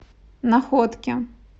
находке